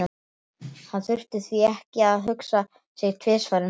Hann þurfti því ekki að hugsa sig tvisvar um þegar